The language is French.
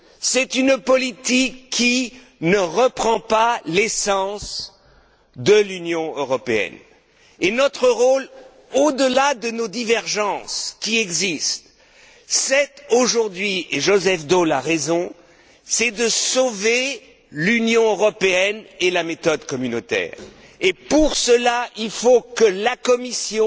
C'est une politique qui ne reprend pas l'essence de l'Union européenne et notre rôle, aujourd'hui, au delà des divergences qui nous opposent et Joseph Daul a raison à ce sujet est de sauver l'Union européenne et la méthode communautaire. Et pour cela, il faut que la Commission,